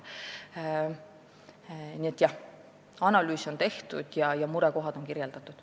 Nii et jah, analüüs on tehtud ja murekohad on kirjeldatud.